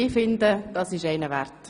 Ich finde, das ist einen Applaus wert!